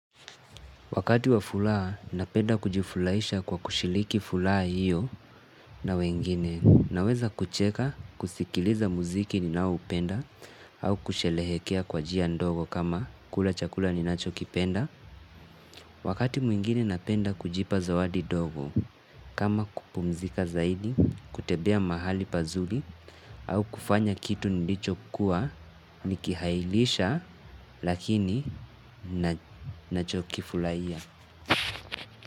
Wakati wa furaha napenda kujifurahisha kwa kushiriki furaha hiyo na wengine naweza kucheka kusikiliza muziki ninaoupenda au kusherehekea kwa njia ndogo kama kula chakula ninachokipenda. Wakati mwingine napenda kujipa zawadi ndogo kama kupumzika zaidi kutembea mahali pazuri au kufanya kitu nilichokuwa nikihairisha lakini nachokifurahia.